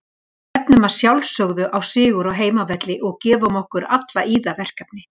Við stefnum að sjálfsögðu á sigur á heimavelli og gefum okkur alla í það verkefni.